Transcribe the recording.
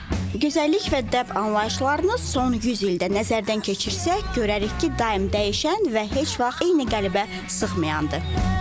Gözəllik və dəb anlayışlarını son 100 ildə nəzərdən keçirsək görərik ki, daim dəyişən və heç vaxt eyni qəlibə sıxmayandır.